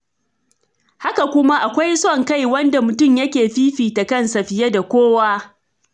Haka kuma, akwai son kai, wanda mutum yake fifta kansa fiye da kowa.